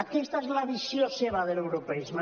aquesta és la visió seva de l’europeisme